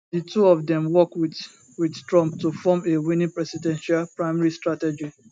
di two of dem work wit wit trump to form a winning presidential primary strategy